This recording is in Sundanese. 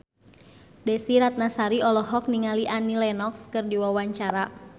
Desy Ratnasari olohok ningali Annie Lenox keur diwawancara